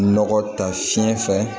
Nɔgɔ ta fiɲɛ fɛ